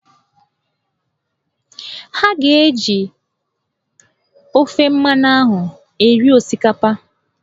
Ha ga-eji ofe mmanụ ahụ eri osikapa